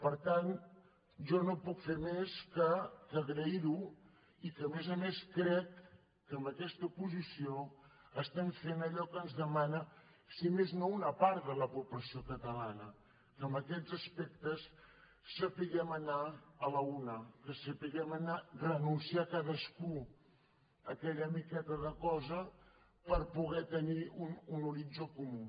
per tant jo no puc fer més que agrair ho i que a més a més crec que amb aquesta posició estem fent allò que ens demana si més no una part de la població catalana que en aquests aspectes sapiguem anar a la una que sapiguem renunciar cadascú a aquella miqueta de cosa per poder tenir un horitzó comú